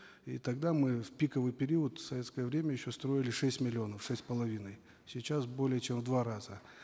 и тогда мы в пиковый период в советское время еще строили шесть миллионов шесть с половиной сейчас более чем в два раза